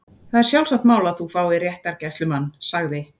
Það er sjálfsagt mál að þú fáir réttargæslumann- sagði